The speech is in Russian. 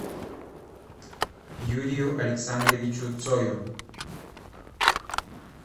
юрию александровичу цою